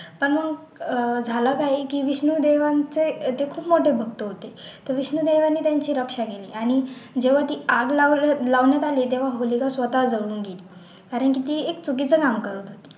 तर मग अह झालं काय की विष्णू देवांचे ते खूप मोठे भक्त होते तर विष्णू देवाने त्यांची रक्षा केली आणि जेव्हा ती आग लाव लावण्यात आली तेव्हा होलिका स्वतः जळून गेली आणि तिथे एक चुकीचं नाम करून गेली